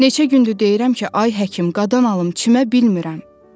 Neçə gündür deyirəm ki, ay həkim, qadan alım, çimə bilmirəm.